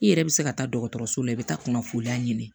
I yɛrɛ bɛ se ka taa dɔgɔtɔrɔso la i bɛ taa kunnafoli ɲini